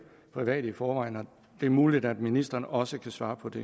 private i forvejen og det er muligt at ministeren også kan svare på det